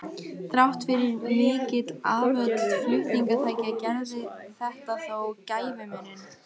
Þrátt fyrir mikil afföll flutningatækja gerði þetta þó gæfumuninn.